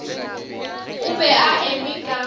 o be a eme ka